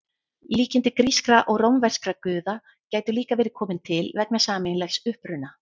Líkindi grískra og rómverskra guða gætu líka verið komin til vegna sameiginlegs uppruna.